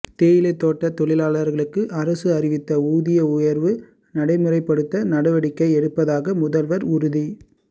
தேயிலைத் தோட்டத் தொழிலாளா்களுக்கு அரசு அறிவித்த ஊதிய உயா்வு நடைமுறைப்படுத்த நடவடிக்கை எடுப்பதாக முதல்வா் உறுதி